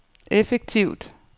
effektivt